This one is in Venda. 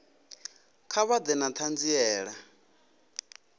kha vha ḓe na ṱhanziela